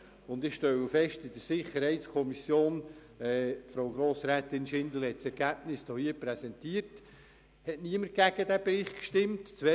Ich stelle fest, dass in der SiK niemand gegen den Bericht stimmte.